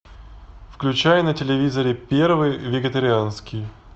включай на телевизоре первый вегетарианский